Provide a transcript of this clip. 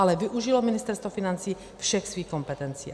Ale využilo Ministerstvo financí všech svých kompetencí.